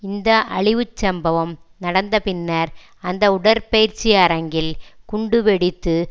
இந்த அழிவுச்சம்பவம் நடந்தபின்னர் அந்த உடற்பயிற்சி அரங்கில் குண்டுவெடித்து